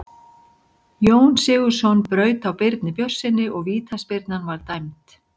Jón Sigurðsson braut á Birni Björnssyni og vítaspyrna var dæmd.